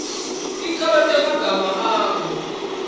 ticalo temagama akho